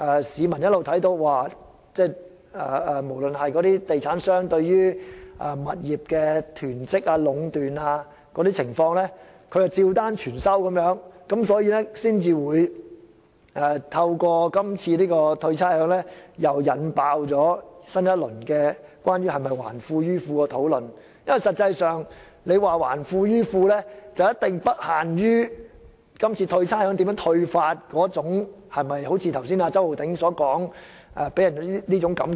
市民可以看到，地產商對物業的囤積和壟斷情況，政府照單全收，所以這次寬減差餉才會引爆新一輪關於政府是否"還富於富"的討論，而這項討論的範圍一定不限於今次寬減差餉的方式會否令人有周浩鼎議員剛才所說的感覺。